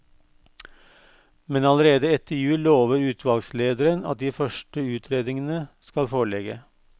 Men allerede etter jul lover utvalgslederen at de første utredningene skal foreligge.